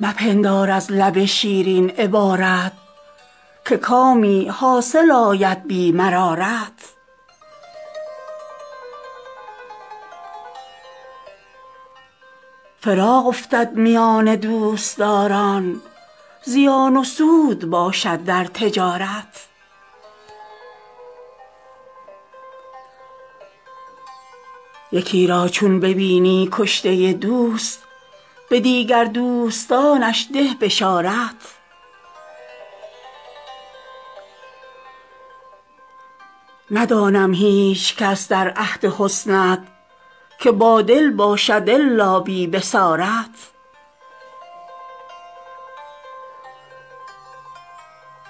مپندار از لب شیرین عبارت که کامی حاصل آید بی مرارت فراق افتد میان دوستداران زیان و سود باشد در تجارت یکی را چون ببینی کشته دوست به دیگر دوستانش ده بشارت ندانم هیچکس در عهد حسنت که بادل باشد الا بی بصارت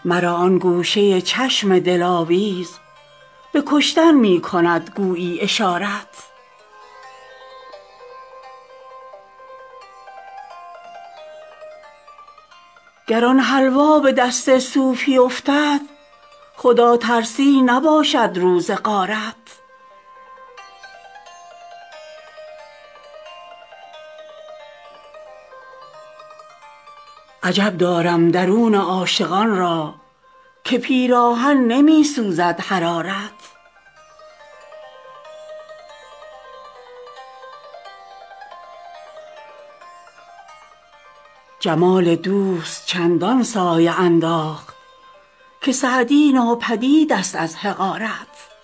مرا آن گوشه چشم دلاویز به کشتن می کند گویی اشارت گر آن حلوا به دست صوفی افتد خداترسی نباشد روز غارت عجب دارم درون عاشقان را که پیراهن نمی سوزد حرارت جمال دوست چندان سایه انداخت که سعدی ناپدید ست از حقارت